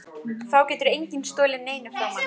Þá getur enginn stolið neinu frá manni.